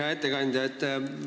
Hea ettekandja!